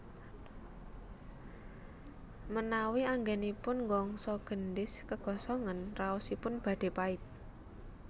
Menawi anggenipun nggongso gendhis kegosongen raosipun badhe pait